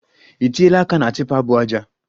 I tiela aka na tipa bu aja